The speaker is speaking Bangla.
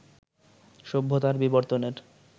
সভ্যতার বিবর্তনের